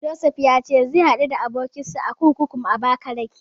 Josef ya ce zai haɗu da abokinsa a kurkukun Abakalake.